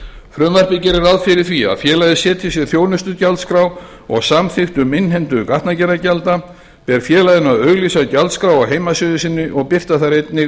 frumvarpið gerir ráð fyrir því að félagið setji sér þjónustugjaldskrá og samþykkt um innheimtu gatnagerðargjalda ber félaginu að auglýsa gjaldskrár á heimasíðu sinni og birta þar einnig